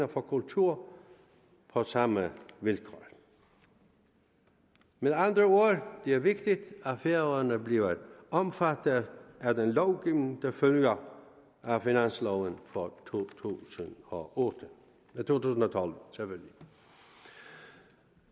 på kulturområdet på samme vilkår med andre ord er det vigtigt at færøerne bliver omfattet af den lovgivning der følger af finansloven for to tusind og tolv